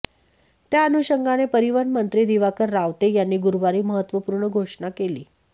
त्याअनुषंगाने परिवहन मंत्री दिवाकर रावते यांनी गुरुवारी महत्त्वपूर्ण घोषणा केली